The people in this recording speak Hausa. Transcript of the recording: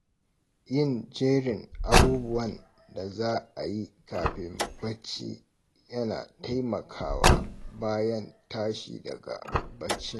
Yin jerin abubuwan da za a yi kafin bacci yana taimakawa bayan tshi daga baccin.